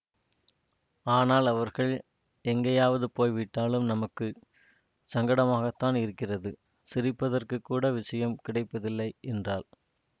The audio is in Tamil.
ஆனால் அவர்கள் எங்கேயாவது போய்விட்டாலும் நமக்கு சங்கடமாகத்தான் இருக்கிறது சிரிப்பதற்குக் கூட விஷயம் கிடைப்பதில்லை என்றாள்